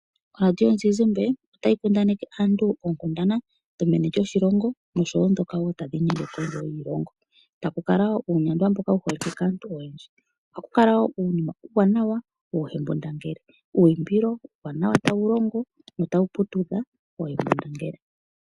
Oradio yomuzizimbe otayi kundaneke aantu oonkundana dhomeni lyoshilongo nosho woo ndhoka tadhi inyenge kondje yoshilongo, taku kala woo uunyandwa mboka wuholikwe kaantu oyendji. Ohaku kala woo uunima uuwanawa woo hembundangele uuyimbilo uuwanawa tawu longo notawu putudha oohembundangele.